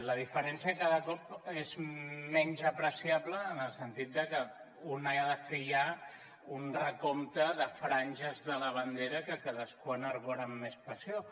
la diferència cada cop és menys apreciable en el sentit de que un ha de fer ja un recompte de franges de la bandera que cadascú enarbora amb més passió